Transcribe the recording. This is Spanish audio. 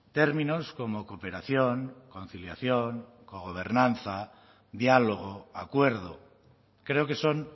términos como cooperación conciliación cogobernanza diálogo acuerdo creo que son